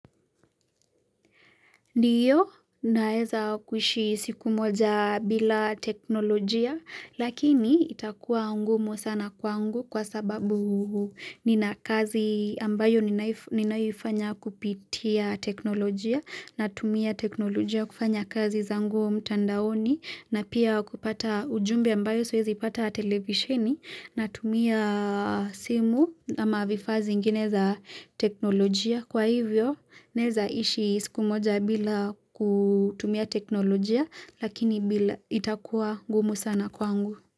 Ndiyo naeza kuishi siku moja bila teknolojia lakini itakuwa ngumu sana kwangu kwa sababu nina kazi ambayo ninayoifanya kupitia teknolojia natumia teknolojia kufanya kazi zangu mtandaoni na pia kupata ujumbe ambayo siwezi pata televisheni natumia simu ama vifaa ziingine za teknolojia. Bila kutumia teknolojia, lakini bila itakuwa ngumu sana kwangu.